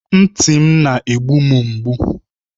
Ntị m na-egbu m mgbu.